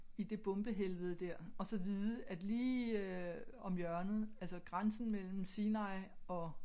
I det bombehelvede dér og så vide at lige øh om hjørnet altså grænsen mellem Sinai og